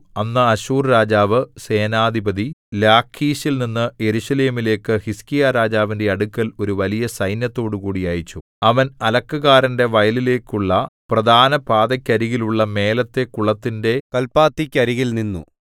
അന്ന് അശ്ശൂർ രാജാവ് സേനാധിപതി ലാഖീശിൽനിന്നു യെരൂശലേമിലേക്കു ഹിസ്കീയാരാജാവിന്റെ അടുക്കൽ ഒരു വലിയ സൈന്യത്തോടുകൂടി അയച്ചു അവൻ അലക്കുകാരന്റെ വയലിലേക്കുള്ള പ്രധാനപാതക്കരികിലുള്ള മേലത്തെ കുളത്തിന്റെ കല്പാത്തിക്കരികിൽ നിന്നു